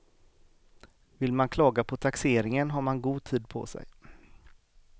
Vill man klaga på taxeringen har man god tid på sig.